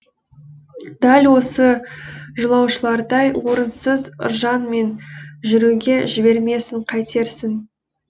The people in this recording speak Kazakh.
дәл осы жолаушылардай орынсыз ыржаңмен жүруге жібермесін қайтерсің